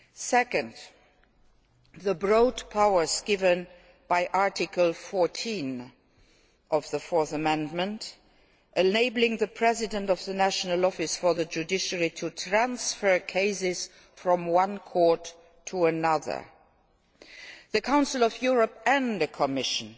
Secondly, with regard to the broad powers given by Article 14 of the Fourth Amendment enabling the President of the National Office for the Judiciary to transfer cases from one court to another the Council of Europe and the Commission